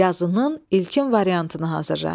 Yazının ilkin variantını hazırla.